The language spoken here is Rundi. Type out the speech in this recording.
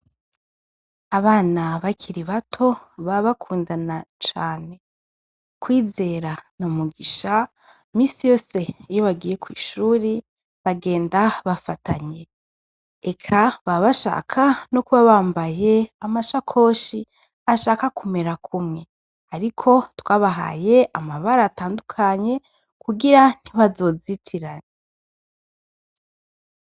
Abana bakiri bato ba bakundana cane kwizera ni mugisha misi yose iyo bagiye kw'ishuri bagenda bafatanye eka ba bashaka no kuba bambaye amashakoshi ashaka kumera kumwe, ariko twabahaye amabara atandukanye kugira ntibazozitirane.